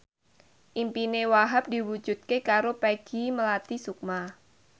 impine Wahhab diwujudke karo Peggy Melati Sukma